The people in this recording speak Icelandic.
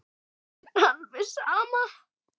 Honum er alveg sama.